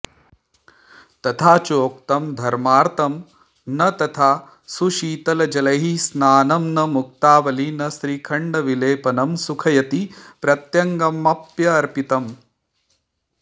तथा चोक्तम् घर्मार्तं न तथा सुशीतलजलैः स्नानं न मुक्तावली न श्रीखण्डविलेपनं सुखयति प्रत्यङ्गमप्यर्पितम्